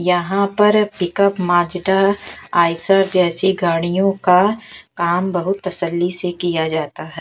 यहां पर pickup Mazda Eicher जैसी गाड़ियों का काम बहुत तसल्ली से किया जाता है।